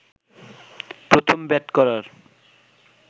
প্রথম ব্যাট করার